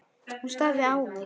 Hún starði á mig.